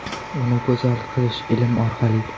Uni go‘zal qilish ilm orqali.